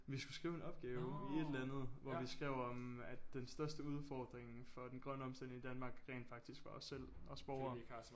Vi skulle skrive en opgave i et eller andet hvor vi skrev om at den største udfordring for den grønne omstilling i Danmark rent faktisk var os selv os borgere